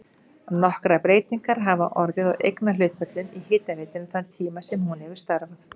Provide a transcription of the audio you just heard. Nokkrar breytingar hafa orðið á eignarhlutföllum í hitaveitunni þann tíma sem hún hefur starfað.